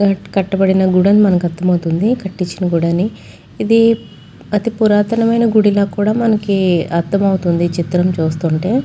కట్టబడిన గుడని మనకర్థమవుతుంది కట్టించిన గుడి అని ఇది అతి పురాతనమైన గుడిలో కూడా మనకి అర్థమవుతుంది చిత్రం చూస్తుంటే --